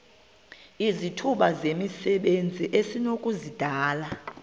izithuba zomsebenzi esinokuzidalela